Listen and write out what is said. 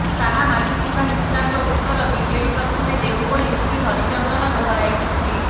ଶାହା ମାଗିଥିବା ହିସାବର ଉତ୍ତର ବିଜେଡି ପ୍ରଥମେ ଦେଉ ବୋଲି ଶ୍ରୀ ହରିଚନ୍ଦନ ଦୋହରାଇଛନ୍ତି